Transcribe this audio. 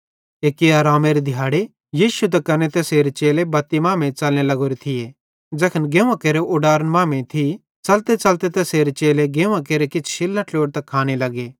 एक्की आरामेरे दिहाड़े यीशु त कने तैसेरे चेले बत्ती मांमेइं च़लने लग्गोरे थिये ज़ै गेंव्वां केरे उडारन मांमेइं थी च़लतेच़लते तैसेरे चेले गेंव्वां केरे किछ शिल्लां ट्लोड़तां खाने लग्गे